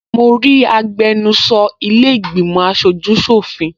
Mo rí agbẹnusọ ilẹ́ ìgbìmọ̀ aṣojú ṣọ̀fin